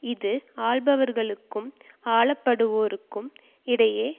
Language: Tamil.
இது ஆள்பவர்களுக்கும் ஆளப்படுவோருக்கும் இடையே